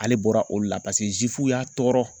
Ale bɔra olu la paseke y'a tɔɔrɔ